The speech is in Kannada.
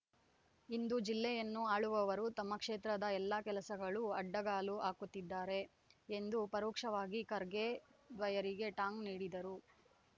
ಇಂದು ಜಿಲ್ಲೆಯನ್ನು ಆಳುವವರು ತಮ್ಮ ಕ್ಷೇತ್ರದ ಎಲ್ಲಾ ಕೆಲಸಗಳಲ್ಲೂ ಅಡ್ಡಗಾಲು ಹಾಕುತ್ತಿದ್ದಾರೆ ಎಂದು ಪರೋಕ್ಷವಾಗಿ ಖರ್ಗೆ ದ್ವಯರಿಗೆ ಟಾಂಗ್‌ ನೀಡಿದರು